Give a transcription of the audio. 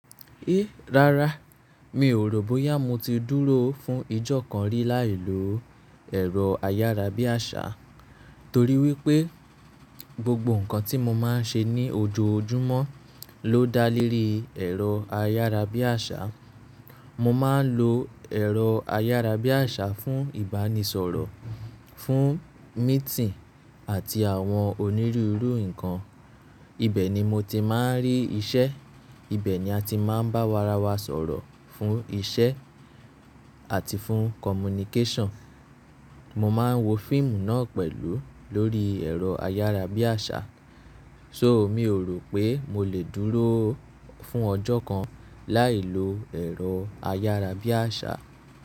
Ẹ! Rárá, miò rò bóyá mo ti dúró fún ijọ́ kan rí láì lo ẹ̀rọ ayárabíàṣá torí wípé gbogbo ǹkan tí mo máa ń ṣe ní ojoojúmọ́ ló dá lórí ẹ̀rọ ayárabíàṣá. Mo máa ń lo ẹ̀rọ ayárabíàṣá fún ìbánisọ̀rọ̀, fún mítinì àti àwọn onírúurú nǹkan. Ibẹ̀ ni mo ti máa ń rí iṣẹ́, ibẹ̀ ni ati máa ń bárawa sọ̀rọ̀ fún iṣẹ́ àti fún kọ̀múníkéṣàn. Mo máa ń wo fíìmù náà pẹ̀lú lórí ẹ̀rọ ayárabíàṣá. So miòrò pé mo lè dúró fún ọjọ́ kan láì lo ẹ̀rọ ayárabíàṣá.